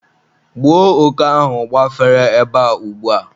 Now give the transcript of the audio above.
gbuo òké ahụ gbafere ebe a ugbua!